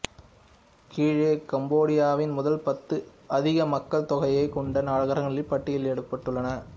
கீழே கம்போடியாவின் முதல் பத்து அதிக மக்கள் தொகையைக் கொண்ட நகரங்கள் பட்டியலிடப்படுள்ளன